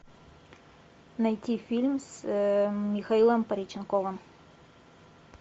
найти фильм с михаилом пореченковым